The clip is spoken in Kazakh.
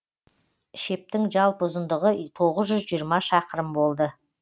шептің жалпы ұзындығы тоғыз жүз жиырма шақырым болды